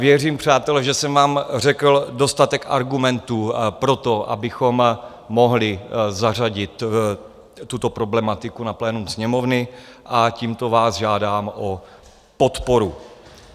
Věřím, přátelé, že jsem vám řekl dostatek argumentů pro to, abychom mohli zařadit tuto problematiku na plénum Sněmovny, a tímto vás žádám o podporu.